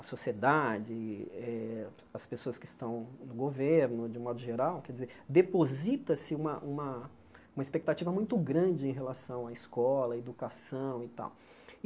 A sociedade, eh as pessoas que estão no governo, de modo geral, quer dizer, deposita-se uma uma uma expectativa muito grande em relação à escola, à educação e tal.